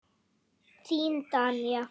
Þín Danía.